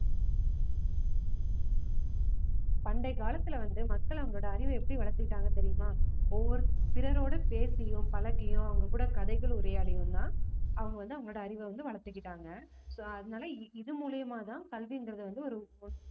பண்டைய காலத்துல வந்து மக்கள் அவங்களோட அறிவை எப்படி வளர்த்துக்கிட்டாங்க தெரியுமா ஒவ்வொரு பிறரோட பேசியும் பழகியும் அவங்க கூட கதைகள் உரையாடியும் தான் அவங்க வந்து அவங்களோட அறிவை வந்து வளர்த்துக்கிட்டாங்க so அதனால இது மூலியமாதான் கல்வின்றது வந்து ஒரு